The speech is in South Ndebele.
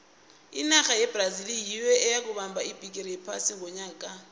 inarha yebrazil nyiyo eyokubamba ibhigiri yephasi ngonyaka ka